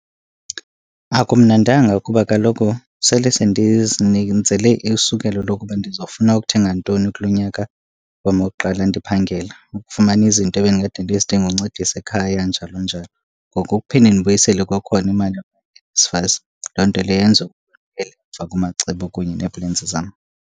Akumnandanga kuba kaloku sele isukelo lokuba ndizawufuna ukuthenga ntoni kulo nyaka wam wokuqala ndiphangela. Ukufumana izinto ebendikade ndizidinga uncedisa ekhaya njalo njalo. Ngoku ukuphinda ndibuyisele kwakhona imali kaNSFAS loo nto leyo yenza ukuba emva kumacebo kunye nee-plans zam.